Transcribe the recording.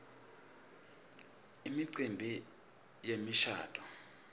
imicimbi yemishabuo